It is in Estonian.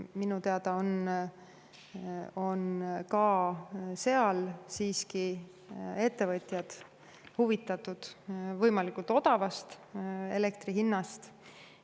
Minu teada on ka seal ettevõtjad huvitatud siiski võimalikult odavast elektri hinnast.